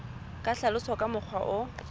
ka hlaloswa ka mokgwa o